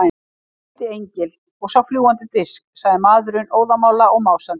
Ég hitti engil, ég sá fljúgandi disk, sagði maðurinn óðamála og másandi.